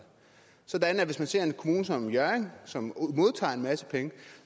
hvis man ser på en kommune som hjørring som modtager en masse penge